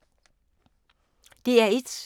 DR1